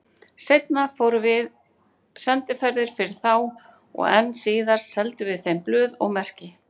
Seinna fórum við sendiferðir fyrir þá og enn síðar seldum við þeim blöð og merki.